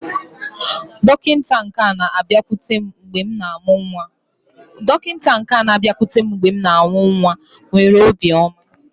Dọkịta nke na-abịakwute m mgbe m na-amụ nwa nwere obiọma.